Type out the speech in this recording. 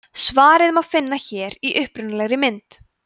svarið má finna hér í upprunalegri mynd